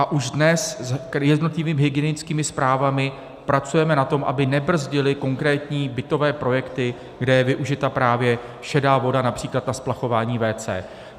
A už dnes s jednotlivými hygienickými správami pracujeme na tom, aby nebrzdily konkrétní bytové projekty, kde je využita právě šedá voda, například na splachování WC.